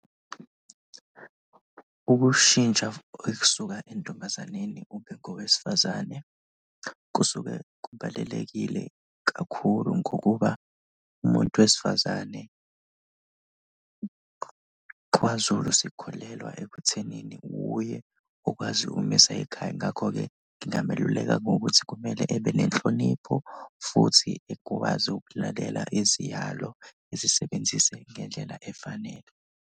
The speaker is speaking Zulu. Ukushintsha ekusuka entombazaneni ube ngowesifazane kusuke kubalulekile kakhulu ngokuba umuntu wesifazane kwaZulu sikholelwa ekuthenini wuye okwazi ukumisa ikhaya, ngakho-ke ngingameluleka ngokuthi kumele ebe nenhlonipho futhi ekwazi ukulalela iziyalo ezisebenzise ngendlela efanele.